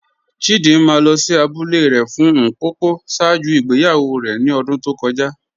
Chídìmà lọ sí àbúlẹ̀ rẹ̀ fún Ḿpòpò ṣáàjú ìgbèyàwó rẹ̀ ní ọ̀dún tó kọ́já